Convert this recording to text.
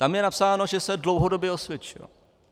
Tam je napsáno, že se dlouhodobě osvědčil.